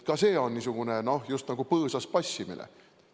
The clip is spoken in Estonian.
Ka see on just nagu põõsas passimine.